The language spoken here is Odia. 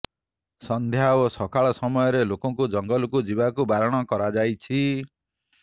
ସନ୍ଧ୍ୟା ଓ ସକାଳ ସମୟରେ ଲୋକଙ୍କୁ ଜଙ୍ଗଲକୁ ଯିବାକୁ ବାରଣ କରାଯାଇଛି